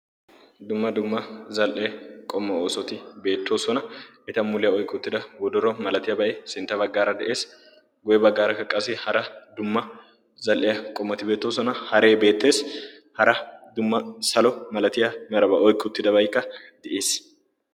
dumma dumma zal77ee qommo oosoti beettoosona. eta muliyaa oiqki uttida wodoro malatiyaa bai sintta baggaara de7ees. goye baggaarakkaqqasi hara dumma zal77iya qomoti beettoosona. haree beettees. hara dumma salo malatiya marabaa oiqki uttidabayikka di7iis?